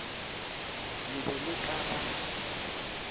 le be le ka ba